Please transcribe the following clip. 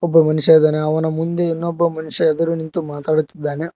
ಒಬ್ಬ ಮನುಷ್ಯ ಇದನ ಅವನ ಮುಂದೆ ಇನ್ನೊಬ್ಬ ಮನುಷ್ಯ ಎದುರು ನಿಂತು ಮಾತಾಡ್ತಾ ಇದ್ದಾನೆ.